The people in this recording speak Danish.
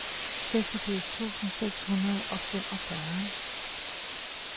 seksogfirs tusind seks hundrede og femogfyrre